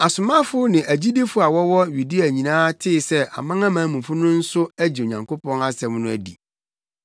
Asomafo ne agyidifo a wɔwɔ Yudea nyinaa tee sɛ amanamanmufo no nso agye Onyankopɔn asɛm no adi.